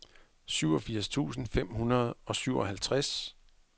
syvogfirs tusind fem hundrede og syvoghalvtreds